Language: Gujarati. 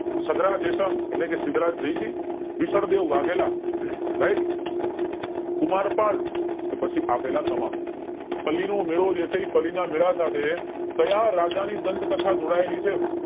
સદ્ધરા જયસંગ એટલે કે સિદ્ધરાજ જયસિંહ વિશલદેવ વાઘેલા અમ right કુમાર પાળ કે પછી આપેલા તમામ પલ્લી નો મેળો જે છે એ પલ્લી ના મેળા સાથે કાયા રાજા ની ગ્રન્થ કથા જોડાયેલી છે